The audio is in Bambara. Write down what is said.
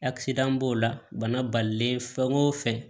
b'o la bana balilen fɛn o fɛn